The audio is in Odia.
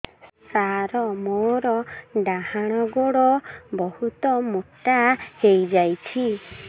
ସାର ମୋର ଡାହାଣ ଗୋଡୋ ବହୁତ ମୋଟା ହେଇଯାଇଛି